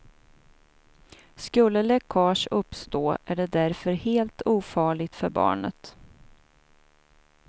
Skulle läckage uppstå är det därför helt ofarligt för barnet.